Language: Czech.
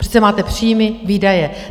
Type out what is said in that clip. Přece máte příjmy, výdaje.